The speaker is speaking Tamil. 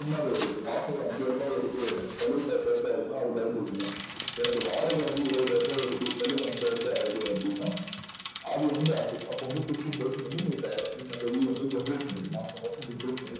சும்மக்கிடையது இப்போ மாசம் ஒரு அஞ்சாயிரம் எடுத்து செலவு பண்றேன அது முக்கியம் எனக்கு வாடகை வந்து இருபதாயிரம் வருது செலவு அஞ்சாயிருபா ஆகுது அப்டின்னா அதுவந்து அப்போவந்து fifteen percent வந்து நீங்க நீங் generate பண்ணிக்கணும் மாசம்மாசம் generate பண்ணிக்கணும்